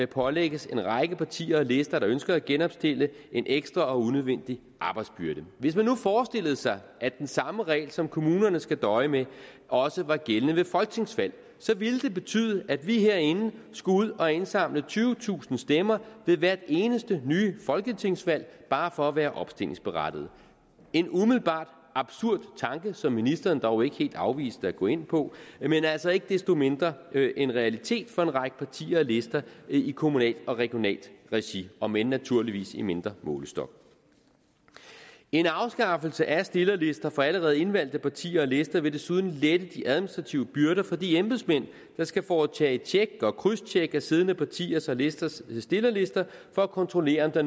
pålægges en række partier og lister der ønsker at genopstille en ekstra og unødvendig arbejdsbyrde hvis man nu forestillede sig at den samme regel som kommunerne skal døje med også var gældende ved folketingsvalg så vil det betyde at vi herinde skulle ud og indsamle tyvetusind stemmer ved hvert eneste nye folketingsvalg bare for at være opstillingsberettigede en umiddelbart absurd tanke som ministeren dog ikke helt afviste at gå ind på men altså ikke desto mindre en realitet for en række partier og lister i kommunalt og regionalt regi om end naturligvis i mindre målestok en afskaffelse af stillerlister for allerede indvalgte partier og lister vil desuden lette de administrative byrder for de embedsmænd der skal foretage et tjek og krydstjek af siddende partiers og listers stillerlister for kontrollere om der